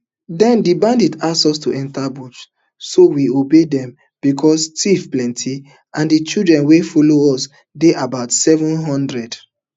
den di bandits ask us to enta bush so we obey dem becos tiff plenty and di children wey follow us dey about seven hundred